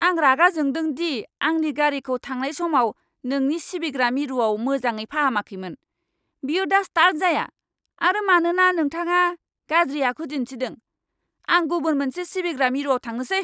आं रागा जोंदों दि आंनि गारिखौ थांनाय समाव नोंनि सिबिग्रा मिरुआव मोजाङै फाहामाखैमोन! बेयो दा स्टार्ट जाया आरो मानोना नोंथाङा गाज्रि आखु दिन्थिदों, आं गुबुन मोनसे सिबिग्रा मिरुआव थांनोसै!